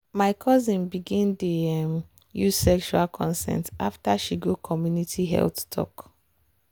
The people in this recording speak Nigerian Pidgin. my cousin begin dey um use sexual consent after she go community health talk.